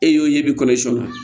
E y'o ye bi kɔnɔ siɲɛn